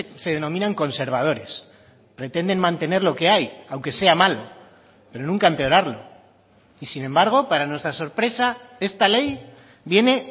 se denominan conservadores pretenden mantener lo que hay aunque sea malo pero nunca empeorarlo y sin embargo para nuestra sorpresa esta ley viene